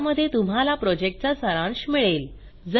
ज्यामध्ये तुम्हाला प्रॉजेक्टचा सारांश मिळेल